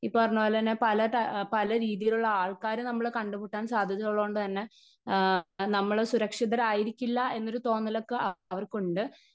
Speaker 1 ഈ പറഞ്ഞതുപോലെ തന്നെ പല അ പലരീതിയിലുള്ള ആൾക്കാര് നമ്മള് കണ്ടുമുട്ടാൻ സാധ്യത ഉള്ളത്കൊണ്ട്തന്നെ ആ നമ്മള് സുരക്ഷിതരായിരിക്കില്ല എന്നൊരു തോന്നലൊക്കെ അവർക്കുണ്ട്.